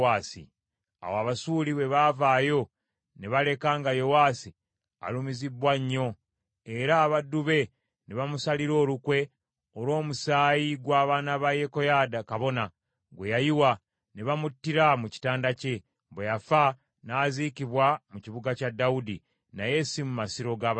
Awo Abasuuli bwe baavaayo, ne baleka nga Yowaasi alumizibbwa nnyo, era abaddu be ne bamusalira olukwe, olw’omusaayi gw’abaana ba Yekoyaada kabona, gwe yayiwa, ne bamuttira mu kitanda kye. Bwe yafa, n’aziikibwa mu kibuga kya Dawudi, naye si mu masiro ga bassekabaka.